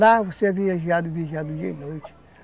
Lá você viajava e viajava dia e noite.